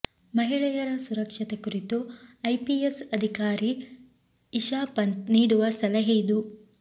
ಮಹಿಳೆಯರ ಸುರಕ್ಷತೆ ಕುರಿತು ಐಪಿಎಸ್ ಅಧಿಕಾರಿ ಇಶಾ ಪಂಥ್ ನೀಡುವ ಸಲಹೆ ಇದು